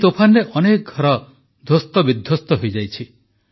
ଏଇ ତୋଫାନରେ ଅନେକ ଘର ଧ୍ୱସ୍ତବିଧ୍ୱସ୍ତ ହୋଇଯାଇଛି